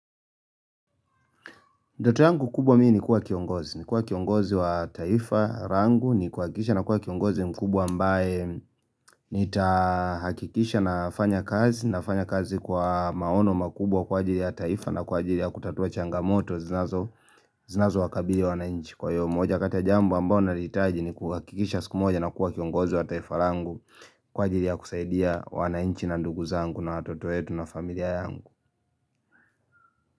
Ndoto yangu kubwa mimi ni kuwa kiongozi wa taifa rangu, ni kuhakikisha kiongozi mkubwa ambae nitahakikisha nafanya kazi kwa maono makubwa kwa ajiri ya taifa na kwa ajiri ya kutatua changamoto zinazowakabili wawanainchi. Kwa hiyo moja kati ya jambo ambao nahitaji ni kuhakikisha siku moja nakuwa kiongozi wa taifa rangu kwa ajiri ya kusaidia wanainchi na ndugu zangu na watoto wetu na familia yangu.